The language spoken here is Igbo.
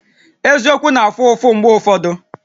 Eziokwu na-afụ ụfụ mgbe ụfọdụ